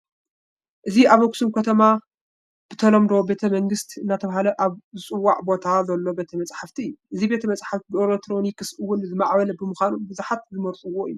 እዚ ኣብ ኣኽሱም ከተማ ብተለምዶ ቤተ መንግስት እናተባህለ ኣብ ዝፅዋዕ ቦታ ዘሎ ቤተ መፃሕፍቲ እዩ፡፡ እዚ ቤተ መፃሕፍቲ ብኤለክትሮኒ እውን ዝማዕበለ ብምዃኑ ብዙሓት ዝመርፅዎ እዩ፡፡